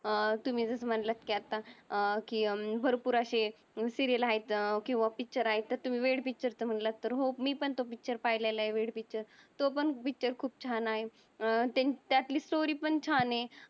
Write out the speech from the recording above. तुम्ही जस म्हंटल कि अत्ता कि भरपूर अशे सिरीयल आहेत किव्हा पिक्चर आहेत. तुम्ही वेड पिक्चर म्हंटला तर हो मी पण त्यो पिक्चर पाहिल्यालोय वेड पिक्चर. त्यो पण पिक्चर खूप छान आहे. त्यातली स्टोरी पण छान आहे.